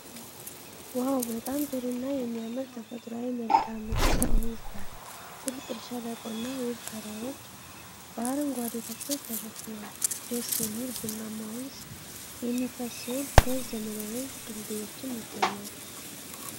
ዋው! በጣም ጥሩ እና የሚያምር ተፈጥሯዊ መልክዓ ምድር ከወንዝ ጋር። ጥልቅ ሸለቆና ውብ ተራሮች በአረንጓዴ ተክሎች ተሸፍነዋል። ደስ የሚል ቡናማ ወንዝ የሚፈስ ሲሆን ሁለት ዘመናዊ ድልድዮችም ያገናኛሉ።